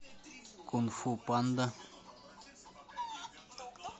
кунг фу панда